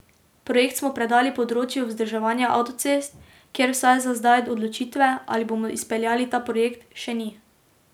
Projekt smo predali področju vzdrževanja avtocest, kjer vsaj za zdaj odločitve, ali bomo izpeljali ta projekt, še ni.